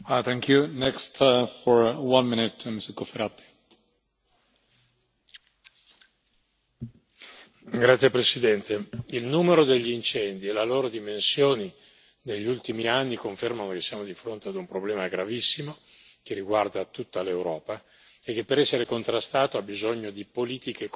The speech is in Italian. Signor Presidente, onorevoli colleghi, il numero degli incendi e le loro dimensioni negli ultimi anni confermano che siamo di fronte a un problema gravissimo che riguarda tutta l'Europa e che per essere contrastato ha bisogno di politiche comuni, convergenti